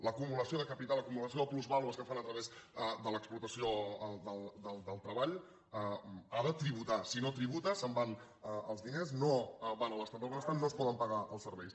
l’acumulació de capital l’acumulació de plusvàlues que fan a través de l’explotació del treball ha de tributar si no tributa se’n van els diners no van a l’estat del benestar no es poden pagar els serveis